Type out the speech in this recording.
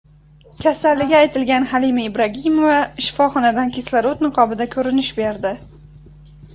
Kasalligi aytilgan Halima Ibragimova shifoxonadan kislorod niqobida ko‘rinish berdi .